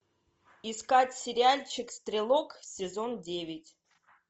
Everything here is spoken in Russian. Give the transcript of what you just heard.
искать сериальчик стрелок сезон девять